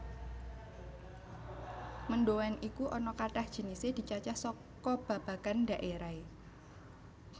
Mendhoan iku ana kathah jinisé dicacah saka babagan dhaérahé